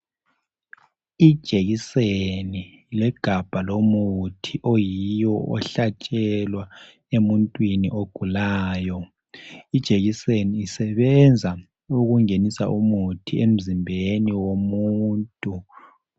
Ijekiseni legabha lomuthi oyiwo ohlatshelwa emuntwini ogulayo, ijekiseni isebenza ukungenisa umuthi emzimbeni womuntu.